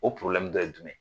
O dɔ ye jumɛn ye.